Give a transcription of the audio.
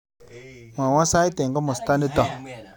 Mwawon sait eng komostanito